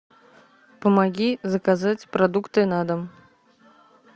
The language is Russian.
помоги заказать продукты на дом